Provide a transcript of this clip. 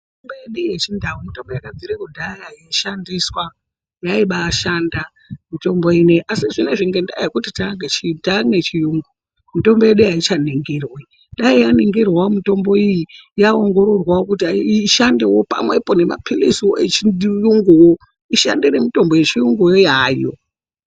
Mitombo yedu yechindau mitombo yakabvira kudhaya yeishandiswa, yaibaishanda mitombo inei. Asi zvinezvi ngendaa yekuti taaneye chiyungu, mitombo yedu aichaningirwi. Dai yainingirwawo mitombo iyi yaongororwawo kuti ishandewo pamwepo nemapiliziwo echiyunguwo. ishande nemitombo yechiyungu yo hayo.